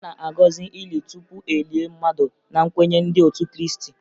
A na-agọzị ili tupu e lie mmadụ na nkwenye ndị otu Krịịstị